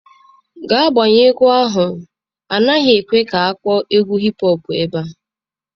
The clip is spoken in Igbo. Gaa gbanyụọ egwu ahụ, a naghị ekwe ka ị kpọọ egwu hip hop ebe a.